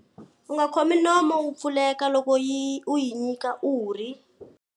U nga khomi nomu wu pfuleka loko u yi nyika urhi.